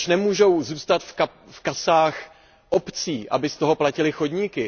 Proč nemůžou zůstat v kasách obcí, aby z toho platily chodníky?